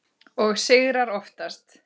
Og sigrar oftast.